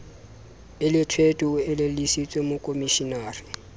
e lethwethwe o elellwise mokomishenara